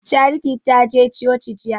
Charity ta je coci jiya